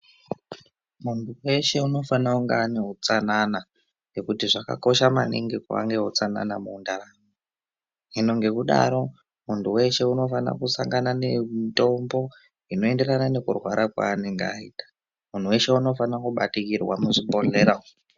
Muntu weshe unofanira kunga ane utsananana, nekuti zvakakosha maningi kuva neutsanana. Hino ngekudaro munhu weshe unofanira kusangana nemitombo inoenderana nekurwara kwaanenge aita. Muntu weshe unofanire kubatikirwa muzvibhehlera umwo.